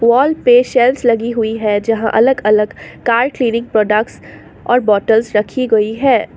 Wall पे shelves लगी हुई है जहां अलग अलग प्रोडक्ट्स और बॉटल्स रखी गई है।